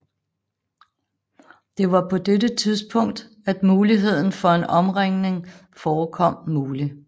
Det var på dette tidspunkt at muligheden for en omringning forekom mulig